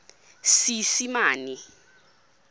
seesimane